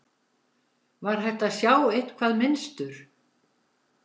Var hægt að sjá eitthvað mynstur?